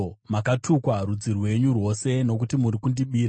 Makatukwa, rudzi rwenyu rwose, nokuti muri kundibira.